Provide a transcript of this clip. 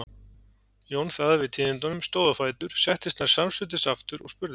Jón þagði við tíðindunum, stóð á fætur, settist nær samstundis aftur og spurði